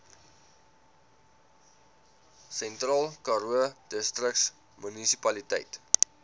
sentraalkaroo distriksmunisipaliteit